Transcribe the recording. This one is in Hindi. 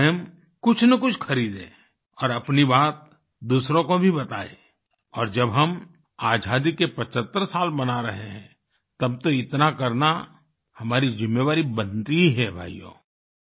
आप स्वयं कुछनकुछ खरीदें और अपनी बात दूसरों को भी बताएं और जब हम आज़ादी के 75 साल मना रहे हैं तब तो इतना करना हमारी ज़िम्मेवारी बनती ही है भाइयो